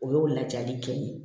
O y'o lajali kɛ ye